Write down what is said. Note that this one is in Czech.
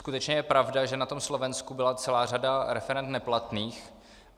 Skutečně je pravda, že na tom Slovensku byla celá řada referend neplatných.